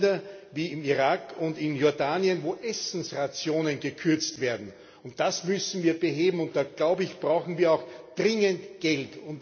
Es gibt Länder, wie Irak und Jordanien, wo Essensrationen gekürzt werden, und das müssen wir beheben. Und da, glaube ich, brauchen wir auch dringend Geld.